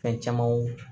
Fɛn camanw